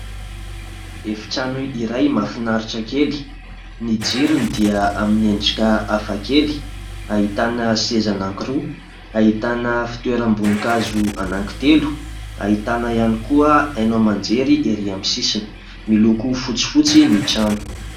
Efitrano iray mahafinaritra kely. Ny jirony dia amin'ny endrika hafa kely ahitana seza anankiroa, ahitana fitoeram-bonikazo anankitelo, ahitana ihany koa haino aman-jery erỳ aminy sisiny, miloko fotsifotsy ny trano.